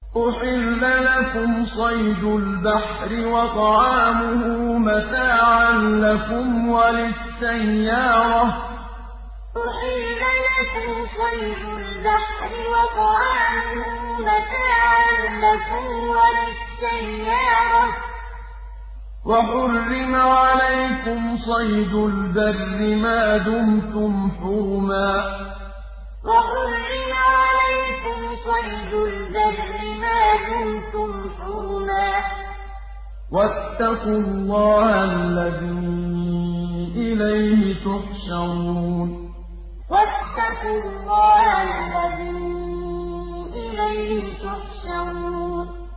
أُحِلَّ لَكُمْ صَيْدُ الْبَحْرِ وَطَعَامُهُ مَتَاعًا لَّكُمْ وَلِلسَّيَّارَةِ ۖ وَحُرِّمَ عَلَيْكُمْ صَيْدُ الْبَرِّ مَا دُمْتُمْ حُرُمًا ۗ وَاتَّقُوا اللَّهَ الَّذِي إِلَيْهِ تُحْشَرُونَ أُحِلَّ لَكُمْ صَيْدُ الْبَحْرِ وَطَعَامُهُ مَتَاعًا لَّكُمْ وَلِلسَّيَّارَةِ ۖ وَحُرِّمَ عَلَيْكُمْ صَيْدُ الْبَرِّ مَا دُمْتُمْ حُرُمًا ۗ وَاتَّقُوا اللَّهَ الَّذِي إِلَيْهِ تُحْشَرُونَ